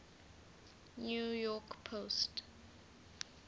new york post